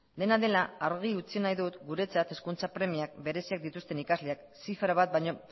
dena dela argi utzi nahi dut guretzat hezkuntza premia bereziak dituzten ikasleak zifra bat baino